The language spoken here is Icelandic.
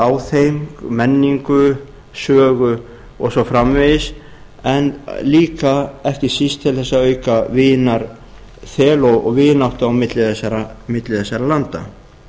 á þeim menningu sögu og svo framvegis en líka ekki síst til þess að auka vinarþel og vináttu á milli þessara landa